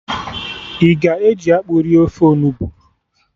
I ga-eji akpụ rie ofe onugbu?